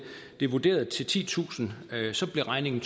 til titusind blev regningen